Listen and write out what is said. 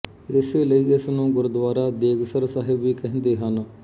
ਇਸੇ ਲਈ ਇਸ ਨੂੰ ਗੁੁੁਰਦੁੁੁਆਰਾ ਦੇੇੇਗਸਰ ਸਾਹਿਬ ਵੀ ਕਹਿੰੰਦੇੇ ਹਨ